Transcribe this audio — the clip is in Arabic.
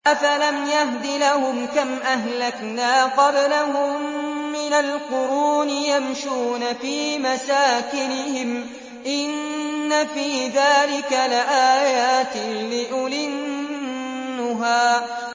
أَفَلَمْ يَهْدِ لَهُمْ كَمْ أَهْلَكْنَا قَبْلَهُم مِّنَ الْقُرُونِ يَمْشُونَ فِي مَسَاكِنِهِمْ ۗ إِنَّ فِي ذَٰلِكَ لَآيَاتٍ لِّأُولِي النُّهَىٰ